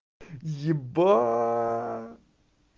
ебать